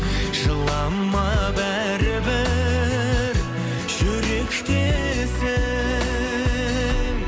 жылама бәрібір жүректесің